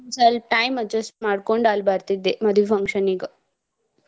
ಸ್ವಲ್ಪ time adjust ಮಾಡ್ಕೊಂಡ್ ಅಲ್ಲ್ ಬರ್ತಿದ್ದೆ ಮದ್ವಿ function ಗ.